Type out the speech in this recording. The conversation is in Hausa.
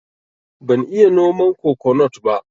Ban iya noman kokonut ba